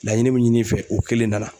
Laɲini min ɲini i fɛ o kelen nana.